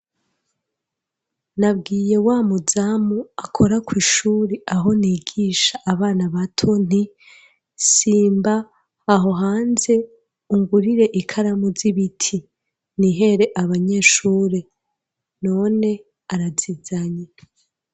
Nabwiye wa muzamu, akora kw'ishure, aho nigisha abana bato, nti: "simba aho hanze, ungurire ikaramu z'ibiti, nihere abanyeshure"; none arazizanye.